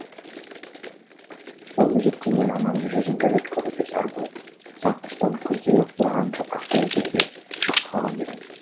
ол мезетте мен анамның жүзін бір рет көруге зар болып сағыныштан күздегі қураған жапырақтай үзілуге шақ қалған едім